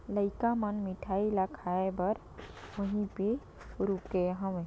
लाइका मन मिठाई ला खाए बर वहीं पर रुके हवै।